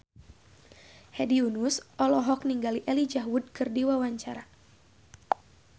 Hedi Yunus olohok ningali Elijah Wood keur diwawancara